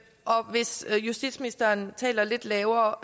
hvis justitsministeren taler lidt lavere